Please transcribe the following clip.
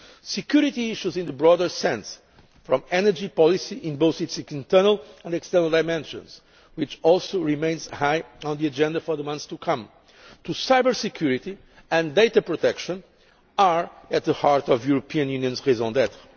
together. Security issues in the broader sense from energy policy in both its internal and external dimensions, which also remains high on the agenda for the months to come, to cyber security and data protection are at the heart of the European Union's raison